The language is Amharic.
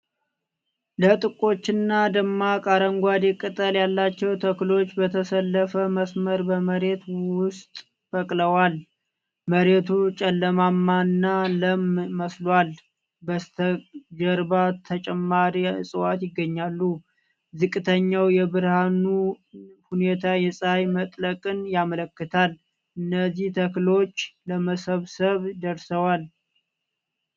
ለጥቆችና ደማቅ አረንጓዴ ቅጠል ያላቸው ተክሎች በተሰለፈ መስመር በመሬት ውስጥ በቅለዋል። መሬቱ ጨለማማና ለም መስሏል፤ በስተጀርባ ተጨማሪ እጽዋት ይገኛሉ። ዝቅተኛው የብርሃን ሁኔታ የጸሐይ መጥለቅን ያመለክታል; እነዚህ ተክሎች ለመሰብሰብ ደርሰዋል?